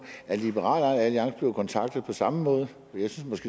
er liberal alliance blevet kontaktet på samme måde jeg synes